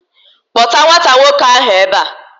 Kpọta nwata nwoke ahu ebe a!